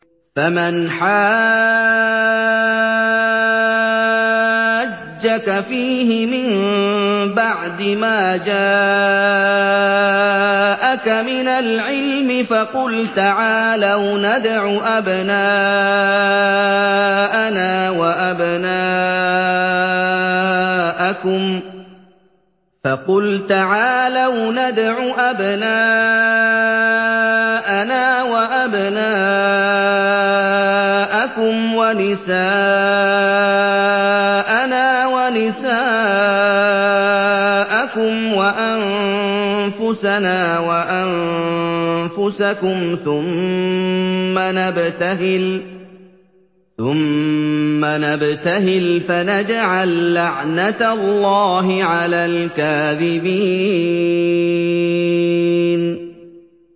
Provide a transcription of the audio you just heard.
فَمَنْ حَاجَّكَ فِيهِ مِن بَعْدِ مَا جَاءَكَ مِنَ الْعِلْمِ فَقُلْ تَعَالَوْا نَدْعُ أَبْنَاءَنَا وَأَبْنَاءَكُمْ وَنِسَاءَنَا وَنِسَاءَكُمْ وَأَنفُسَنَا وَأَنفُسَكُمْ ثُمَّ نَبْتَهِلْ فَنَجْعَل لَّعْنَتَ اللَّهِ عَلَى الْكَاذِبِينَ